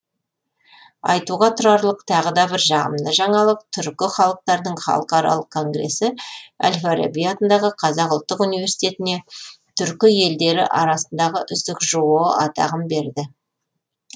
айтуға тұрарлық тағы да бір жағымды жаңалық түркі халықтарының халықаралық конгресі әл фараби атындағы қазақ ұлттық университетіне түркі елдері арасындағы үздік жоо атағын берді